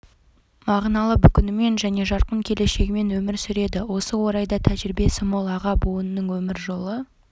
мағыналы бүгінімен және жарқын келешегімен өмір сүреді осы орайда тәжірибесі мол аға буынның өмір жолы